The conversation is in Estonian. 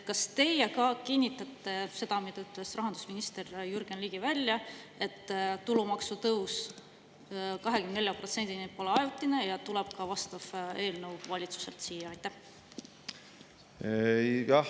Kas te kinnitate seda, mille ütles välja rahandusminister Jürgen Ligi, et tulumaksu tõus 24%‑ni pole ajutine ja tuleb ka vastav eelnõu valitsuselt siia?